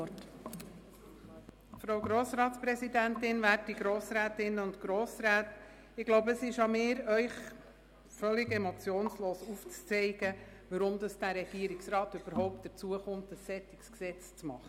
Es scheint an mir zu liegen, Ihnen völlig emotionslos aufzuzeigen, weshalb der Regierungsrat überhaupt ein solches Gesetz macht.